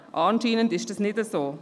Dem ist anscheinend nicht so.